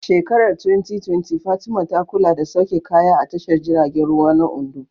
A shekarar 2020, Fatima ta kula da sauke kaya a tashar jiragen ruwa na Ondo.